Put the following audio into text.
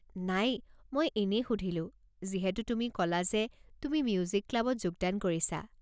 নাই, মই এনেই সুধিলো যিহেতু তুমি ক'লা যে তুমি মিউজিক ক্লাবত যোগদান কৰিছা।